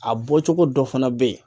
A bɔcogo dɔ fana be yen